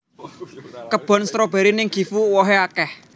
Kebon stroberi ning Gifu uwohe akeh